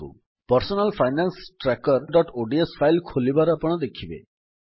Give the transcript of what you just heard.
personal finance trackerଓଡିଏସ file ଖୋଲିବାର ଆପଣ ଦେଖିବେ